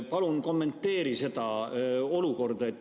Palun kommenteeri seda olukorda.